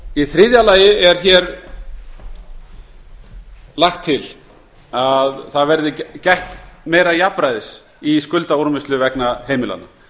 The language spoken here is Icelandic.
í þriðja lagi er lagt til að gætt verði meira jafnræðis í skuldaúrvinnslu vegna heimilanna